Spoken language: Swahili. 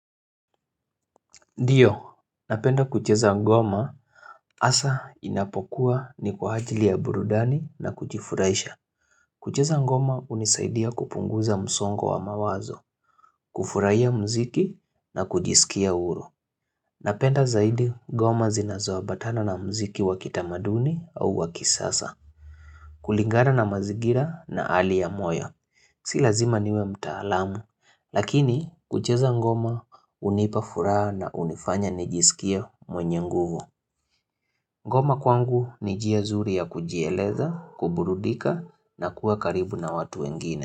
Ndio, napenda kucheza ngoma hasa inapokuwa ni kwa ajili ya burudani na kujifurahisha. Kucheza ngoma hunisaidia kupunguza msongo wa mawazo, kufurahia mziki na kujisikia huru. Napenda zaidi ngoma zinazoabatana na mziki wakitamaduni au wakisasa, kulingana na mazingira na hali ya moyo. Si lazima niwe mtaalamu, lakini kucheza ngoma hunipa furaha na hunifanya nijisikia mwenye nguvu. Ngoma kwangu ni njia nzuri ya kujieleza, kuburudika na kuwa karibu na watu wengine.